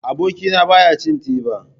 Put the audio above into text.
Abokina ba ya cin teba.